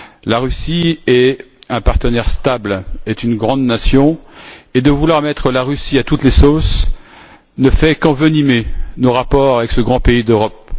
La Russie est un partenaire stable et une grande nation, et vouloir mettre la Russie à toutes les sauces ne fait qu'envenimer nos rapports avec ce grand pays d'Europe.